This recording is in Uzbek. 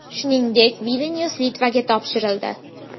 Shuningdek, Vilnyus Litvaga topshirildi.